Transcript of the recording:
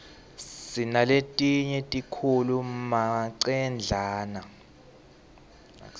sinaletinye tikhulu manqemdlala